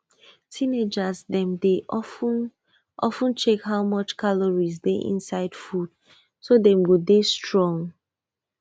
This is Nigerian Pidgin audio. teenagers dem dey of ten of ten check how much calorie dey inside food so dem go dey strong